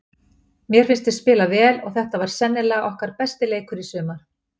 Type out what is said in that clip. Mér fannst við spila vel og þetta var sennilega okkar besti leikur í sumar.